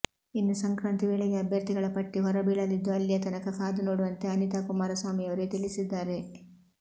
ಇನ್ನು ಸಂಕ್ರಾಂತಿ ವೇಳೆಗೆ ಅಭ್ಯರ್ಥಿಗಳ ಪಟ್ಟಿ ಹೊರಬೀಳಲಿದ್ದು ಅಲ್ಲಿಯ ತನಕ ಕಾದು ನೋಡುವಂತೆ ಅನಿತಾ ಕುಮಾರಸ್ವಾಮಿಯವರೇ ತಿಳಿಸಿದ್ದಾರೆ